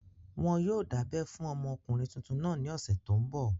Wọn yóò dábẹ́ fún ọmọkùnrin tuntun náà ní ọ̀sẹ̀ tó n bọ̀